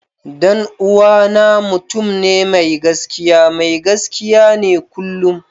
Dan uwana mutum ne mai gaskiya, mai gaskiya ne kullum.